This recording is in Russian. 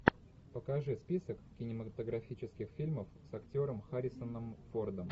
покажи список кинематографических фильмов с актером харрисоном фордом